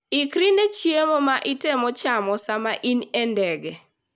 Ikri ne chiemo ma itemo chamo sama in e ndege.